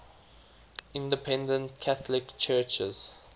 independent catholic churches